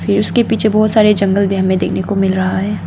फिर उसके पीछे बहोत सारे जंगल भी हमें देखने को मिल रहा है।